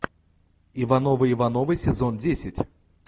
ивановы ивановы сезон десять